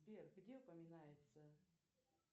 сбер где упоминается